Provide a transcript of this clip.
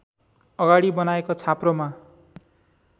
अगाडि बनाएको छाप्रोमा